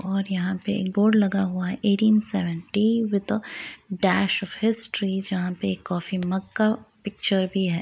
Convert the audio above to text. और यहाँ पे एक बोर्ड लगा हुआ है eighteen seventy with a dash of history जहाँ पे एक कॉफी मग का पिक्चर भी है।